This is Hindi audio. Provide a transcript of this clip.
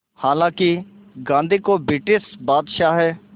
हालांकि गांधी को ब्रिटिश बादशाह